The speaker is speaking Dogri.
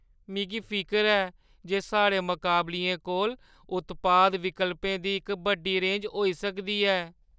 मिगी फिकर ऐ जे साढ़े मकाबलियें कोल उत्पाद विकल्पें दी इक बड्डी रेंज होई सकदी ऐ।